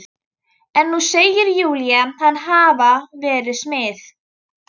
En nú segir Júlía hann hafa verið smið.